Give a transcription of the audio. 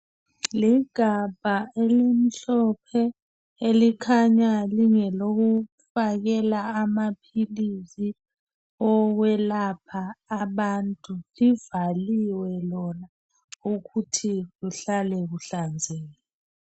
Ligabha elimhlophe, elikhanya lingelokufakela, amaphilisi, okwelapha abantu. Libhaliwe lona, ukuthi. kuhlale kuhlanzekile.